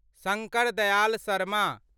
Shankar Dayal Sharma